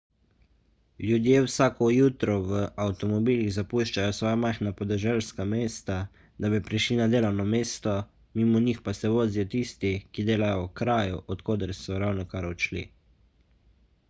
ljudje vsako jutro v avtomobilih zapuščajo svoja majhna podeželska mesta da bi prišli na delovno mesto mimo njih pa se vozijo tisti ki delajo v kraju od koder so ravnokar odšli